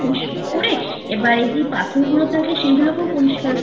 পরিষ্কার করে এবার যে পাথরগুলো থাকে সেগুলোকেও পরিষ্কার করি